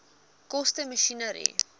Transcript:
koste masjinerie